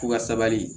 K'u ka sabali